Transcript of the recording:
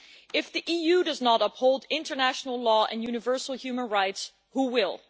If the EU does not uphold international law and universal human rights, who will?